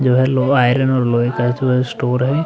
Iron और लोहे का जो स्टोर है।